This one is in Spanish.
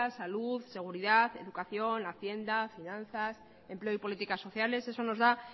salud seguridad educación hacienda y finanzas empleo y políticas sociales eso nos da